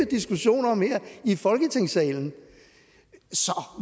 diskussion om her i folketingssalen så